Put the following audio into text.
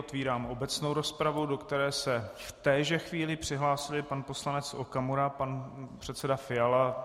Otvírám obecnou rozpravu, do které se v téže chvíli přihlásili pan poslanec Okamura, pan předseda Fiala.